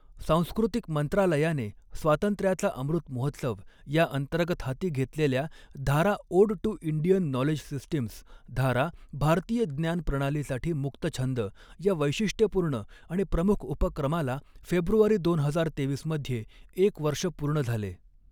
सांस्कृतिक मंत्रालयाने स्वातंत्र्याचा अमृतमहोत्सव या अंतर्गत हाती घेतलेल्या Dhara ode to Indian knowledge systems Dhara भारतीय ज्ञान प्रणालीसाठी मुक्तछंद या वैशिष्ट्यपूर्ण आणि प्रमुख उपक्रमाला फेब्रुवारी दोन हजार तेवीस मध्ये एक वर्ष पूर्ण झाले.